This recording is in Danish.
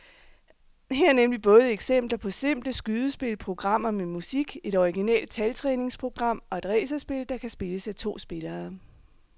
Her er nemlig både eksempler på simple skydespil, programmer med musik, et originalt taltræningsprogram og et racerspil, der kan spilles af to spillere.